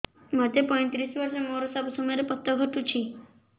ମୋତେ ପଇଂତିରିଶ ବର୍ଷ ମୋର ସବୁ ସମୟରେ ପତ ଘଟୁଛି